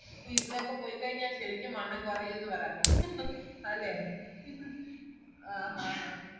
ഇവിടൊക്കെ പോയിക്കൈഞ്ഞ ശെരിക്കും വണ്ണം കുറയുന്നപറ അപ്പൊ അല്ലെ ആ ഹാ ഹാ